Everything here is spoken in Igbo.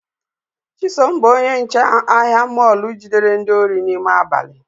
Chisom bụ onye nche ahịa mọlu jidere ndị osi n’ime abali